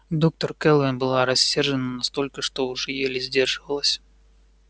доктор кэлвин была рассержена настолько что уже еле сдерживалась